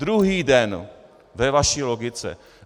Druhý den ve vaší logice.